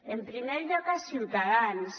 en primer lloc a ciutadans